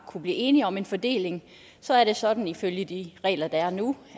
blive enige om en fordeling og så er det sådan ifølge de regler der er nu